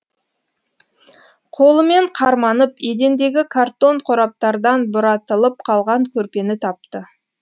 қолымен қарманып едендегі картон қораптардан бұратылып қалған көрпені тапты